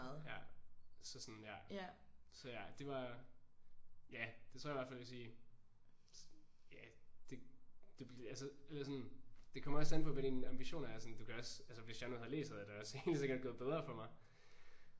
Ja ja så sådan ja så ja det var ja det tror jeg i hvert fald jeg vil sige ja det bliver altså eller sådan det kommer også an på hvad dine ambitioner er sådan du kan også altså hvis jeg nu havde læst så havde det da også helt sikkert gået bedre for mig